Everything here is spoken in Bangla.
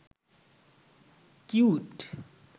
কিউট